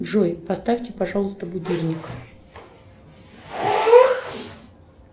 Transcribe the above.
джой поставьте пожалуйста будильник